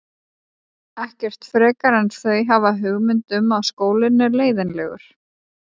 Ekkert frekar en þau hafa hugmynd um að skólinn er leiðinlegur.